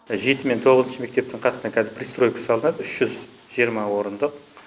жеті мен тоғызыншы мектептің қасынан қазір пристройка салынады үш жүз жиырма орындық